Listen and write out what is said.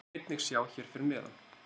Þá má einnig sjá hér að neðan.